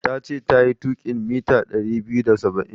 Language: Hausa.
Tace tayi tuƙin mita ɗari biyu da saba'in.